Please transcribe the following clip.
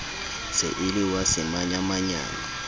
se e le wa semanyamanyane